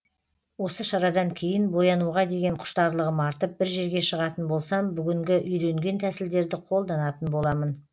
осы шарадан кейін боянуға деген құштарлығым артып бір жерге шығатын болсам бүгінгі үйренген тәсілдерді қолданатын боламын